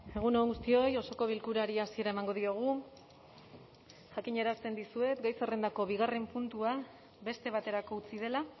egun on guztioi osoko bilkurari hasiera emango diogu jakinarazten dizuet gai zerrendako bigarren puntua beste baterako utzi dela